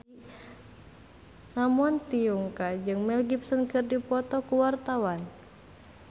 Ramon T. Yungka jeung Mel Gibson keur dipoto ku wartawan